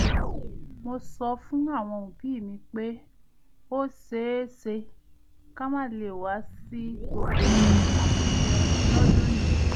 mo sọ fún àwọn òbí mi pé ó ṣeéṣe ká má lè wá sí gbogbo àpèjẹ lọ́dún yìí